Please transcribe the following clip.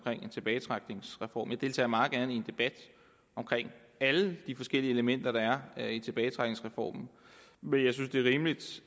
en tilbagetrækningsreform jeg deltager meget gerne i en debat om alle de forskellige elementer der er i tilbagetrækningsreformen men jeg synes det er rimeligt